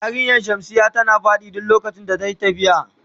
Yarinyan shamsiya tana fadi duk lokacin da ta siya.